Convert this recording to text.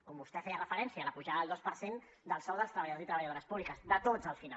com vostè hi feia referència la pujada del dos per cent del sou dels treballadors i treballadores públiques de tots al final